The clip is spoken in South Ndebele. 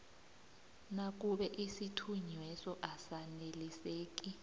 nakube isithunyweso asaneliseki